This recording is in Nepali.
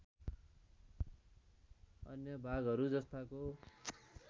अन्य भागहरू जस्ताको